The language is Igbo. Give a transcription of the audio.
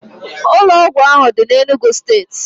Ụlọ ọgwụ ahụ dị n'Enugwu steeti